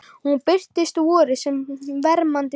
Hún birtist á vori sem vermandi sól